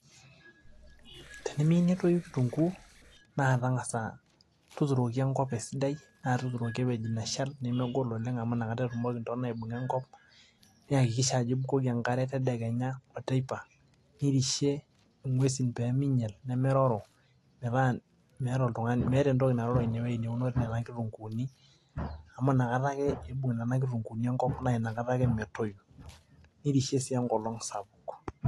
Emiyieu netoyu kitunguu naa tang'asa tuturoki enkop esidai naa tuunoki ewueji neshal nemegol oleng' amu inakata etumoki intona aibung'a enko niyakikisha ajo ibukoki enkare tedekenya oteipa nirishie ng'uesin pee minyal nemeroro naa meeta entoki naroro ine wuei naunore inkitunguuni amu nakata ake iibung' nena kitunguuni enkop naa ina kata ake metoyu, nirishie sii enkolong' sapuk.